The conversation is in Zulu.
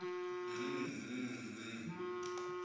mh mh mh